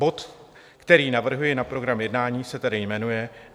Bod, který navrhuji na program jednání, se tedy jmenuje